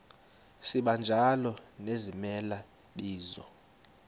sibanjalo nezimela bizo